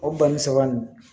O banni saba nin